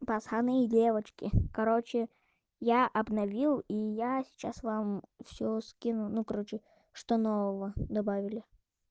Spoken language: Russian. пацаны и девочки короче я обновил и я сейчас вам всё скину ну короче что нового добавили